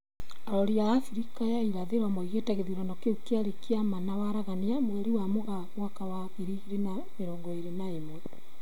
Arori a Afrika ya irathĩro maugĩte gĩthurano kĩu kĩarĩ kĩa ma na waragania, mweri wa Mũgaa mwaka wa ngiri igĩrĩ na mĩrongo ĩrĩ na ĩmwe